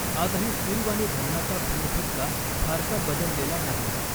आजही सिरूवानी धरणाचा फेरफटका फारसा बदललेला नाही.